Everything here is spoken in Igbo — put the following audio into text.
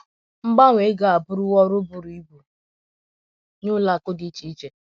Mgbanwe ego a abụrụwo ọrụ bụrụ ibu nye ụlọ akụ̀ dị iche iche..